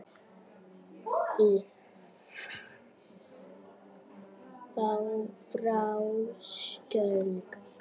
Í frásögn